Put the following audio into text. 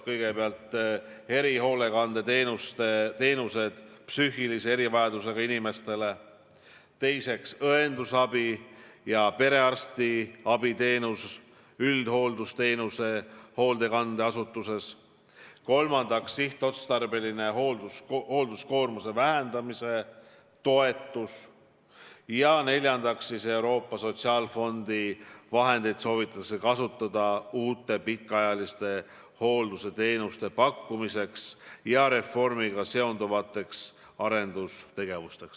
Kõigepealt tagada erihoolekandeteenused psüühilise erivajadusega inimestele, teiseks, tagada õendusabi ja perearstiabiteenus üldhooldusteenuse hoolekandeasutuses, kolmandaks, maksta sihtotstarbelist hoolduskoormuse vähendamise toetust ja neljandaks soovitatakse kasutada Euroopa Sotsiaalfondi vahendeid uute pikaajalise hoolduse teenuste pakkumiseks ja reformiga seonduvateks arendustegevusteks.